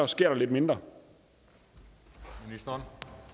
sker lidt mindre når